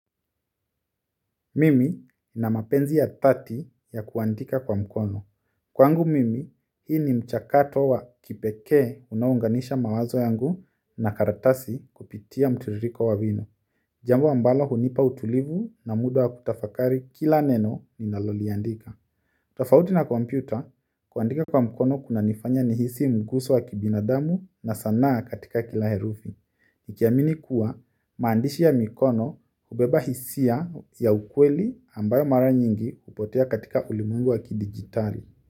Mimi nina mapenzi ya dhati ya kuandika kwa mkono kwangu mimi, hii ni mchakato wa kipekee unaounganisha mawazo yangu na karatasi kupitia mtiririko wa wino. Jambo ambalo hunipa utulivu na muda wa kutafakari kila neno ninaloliandika. Tofauti na kompyuta, kuandika kwa mkono kunanifanya nihisi mguso wa kibinadamu na sanaa katika kila herufi. Ikiamini kuwa maandishi ya mikono hubeba hisia ya ukweli ambayo mara nyingi hupotea katika ulimwengu wa kidijitali.